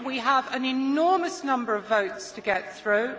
We have an enormous number of votes to get through.